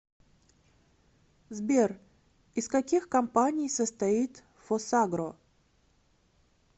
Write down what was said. сбер из каких компаний состоит фосагро